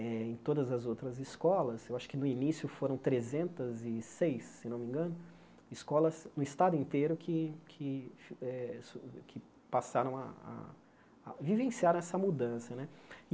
em todas as outras escolas, eu acho que no início foram trezentas e seis, se não me engano, escolas no estado inteiro que que eh que passaram a a a vivenciaram essa mudança né.